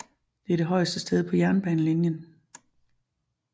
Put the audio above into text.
Det er det højeste sted på jernbanelinjen